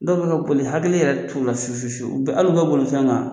Dɔw bɛ ka boli hakili yɛrɛ t'u la fe fe fewu, u bɛ hal'u ka bolifɛn kan